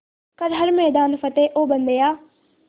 कर हर मैदान फ़तेह ओ बंदेया